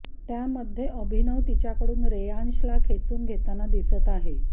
त्यामध्ये अभिनव तिच्याकडून रेयांशला खेचून घेताना दिसत आहे